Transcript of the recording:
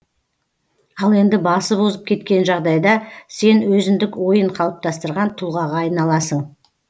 ал енді басып озып кеткен жағдайда сен өзіндік ойын қалыптастырған тұлғаға айналасың